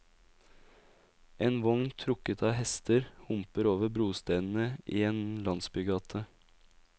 En vogn trukket av hester homper over brostenene i en landsbygate.